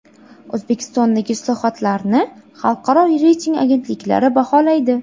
O‘zbekistondagi islohotlarni xalqaro reyting agentliklari baholaydi.